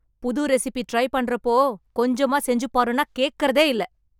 புது recipe try பண்றப்போ, கொஞ்சமா செஞ்சு பாருன்னா கேக்கறதேயில்ல...